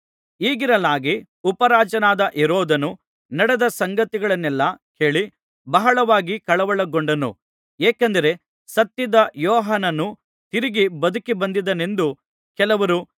ಹೀಗಿರಲಾಗಿ ಉಪರಾಜನಾದ ಹೆರೋದನು ನಡೆದ ಸಂಗತಿಗಳನ್ನೆಲ್ಲಾ ಕೇಳಿ ಬಹಳವಾಗಿ ಕಳವಳಗೊಂಡನು ಏಕೆಂದರೆ ಸತ್ತಿದ್ದ ಯೋಹಾನನು ತಿರುಗಿ ಬದುಕಿಬಂದಿದ್ದಾನೆಂದು ಕೆಲವರೂ